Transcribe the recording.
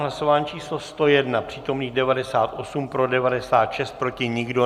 Hlasování číslo 101, přítomných 98, pro 96, proti nikdo.